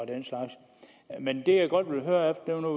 den slags men det jeg godt vil høre er